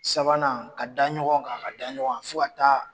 Sabanan ka dan ɲɔgɔn kan ka dan ɲɔgɔn kan fo ka taa